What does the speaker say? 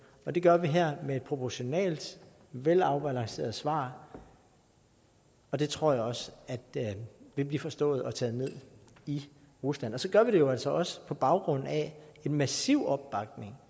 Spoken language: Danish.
og det gør vi her med et proportionalt velafbalanceret svar og det tror jeg også vil blive forstået og taget ned i rusland så gør vi det jo altså også på baggrund af en massiv opbakning